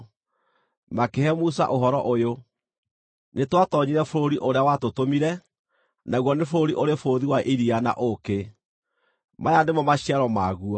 Makĩhe Musa ũhoro ũyũ: “Nĩtwatoonyire bũrũri ũrĩa watũtũmire, naguo nĩ bũrũri ũrĩ bũthi wa iria na ũũkĩ! Maya nĩmo maciaro maguo.